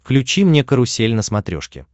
включи мне карусель на смотрешке